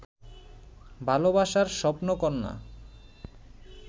ভালোবাসার স্বপ্নকন্যা